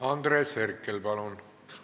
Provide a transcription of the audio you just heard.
Andres Herkel, palun!